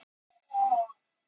Hann þekkti handtakið.